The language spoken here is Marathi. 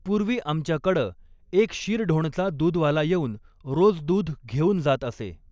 पूर्वी आमच्याकडं एक शिरढोणचा दूधवाला येउन रोज दूध घेउन जात असे.